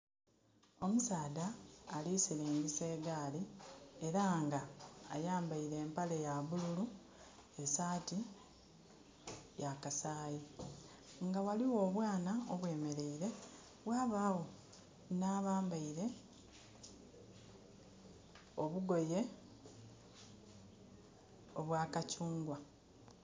Omusaadha alisilingisa egaali era nga ayambeire empale ya bululu e saati ya kasaayi. Nga ghaligho obwaana obwemeleire, ghabagho nha bambeire obugoye obwa kakyungwa.